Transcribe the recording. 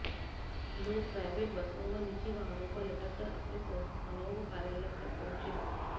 लोग प्राइवेट बसों व निजी वाहनों पर लटक कर अपने संस्थानों व कार्यालय तक पहुंचे